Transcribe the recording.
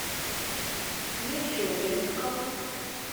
мичуринском